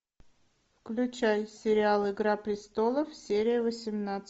включай сериал игра престолов серия восемнадцать